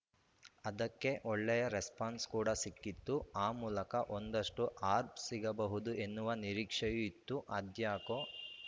ಅದಕ್ಕೆ ಒಳ್ಳೆಯ ರೆಸ್ಪಾನ್ಸ್‌ ಕೂಡ ಸಿಕ್ಕಿತ್ತು ಆ ಮೂಲಕ ಒಂದಷ್ಟುಆರ್ಫ್ ಸಿಗಬಹುದು ಎನ್ನುವ ನಿರೀಕ್ಷೆಯೂ ಇತ್ತು ಅದ್ಯಾಕೋ